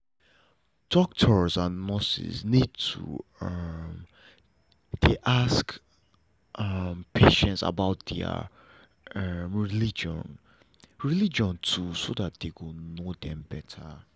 doctors and nurses need to um dey ask um patients about their um religion religion too so dem go know them better